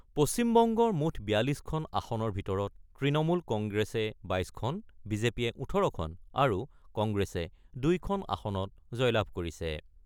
পশ্চিমবংগৰ মুঠ ৪২খন আসনৰ ভিতৰত তৃণমূল কংগ্ৰেছে ২২খন, বিজেপিয়ে ১৮খন আৰু কংগ্ৰেছে ২খন আসনত জয়লাভ কৰিছে।